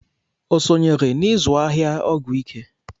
O sonyere n'izụ ahịa ọgwụ ike?